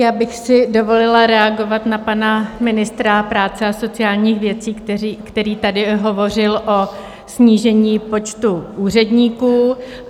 Já bych si dovolila reagovat na pana ministra práce a sociálních věcí, který tady hovořil o snížení počtu úředníků.